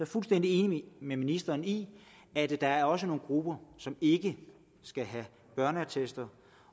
fuldstændig enig med ministeren i at der også er nogle grupper som ikke skal have børneattester